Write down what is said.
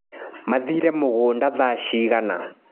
Mathire mũgũnda thaa cigana.